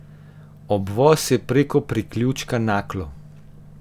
Obvoz je preko priključka Naklo.